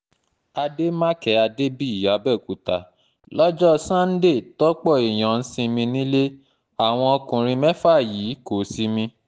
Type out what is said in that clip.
àdèmàkè adébíyì àbẹ̀òkúta lọ́jọ́ sànńdẹ tọ́pọ̀ èèyàn ń sinmi nílé àwọn ọkùnrin mẹ́fà yìí kò sinmi